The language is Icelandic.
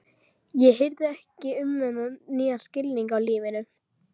Ég hirði ekki um þennan nýja skilning á lífinu.